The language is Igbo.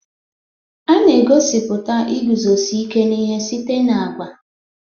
A na-egosipụta iguzosi ike n'ihe site na agwa